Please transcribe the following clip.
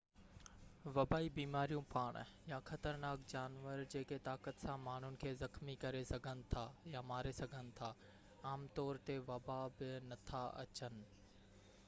وبائي بيماريون پاڻ يا خطرناڪ جانور جيڪي طاقت سان ماڻهن کي زخمي ڪري سگهن ٿا يا ماري سگهن ٿا عام طور تي وبا ۾ نٿا اچن